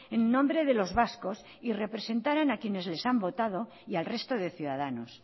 en nombre de los vascos y representarán a quienes les han votado y al resto de ciudadanos